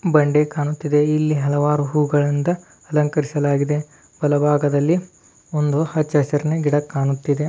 ಬಂಡೆ ಕಾಣುತ್ತಿದೆ ಮತ್ತು ಹಲವಾರು ಹೂಗಳಿಂದ ಅಲಂಕರಿಸಲಾಗಿದೆ ಇಲ್ಲಿ ಹಲವಾರು ಅಚ್ಚರಿನ ಗಿಡ ಕಾಣುತ್ತಿದೆ.